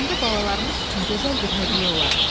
Onda balalarımız üçün gözəl bir hədiyyə olar.